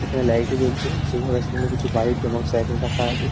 এখানে লাইট -ও জ্বলছে সেখানে রাস্তার মধ্যে কিছু বাইক এবং সাইকেল রাখা আছে।